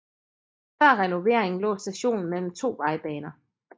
Før renoveringen lå stationen mellem to vejbaner